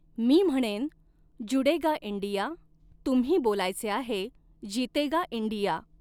मी म्हणेन जुड़ेगा इंडिया, तुम्ही बोलायचे आहे, जीतेगा इंडिया.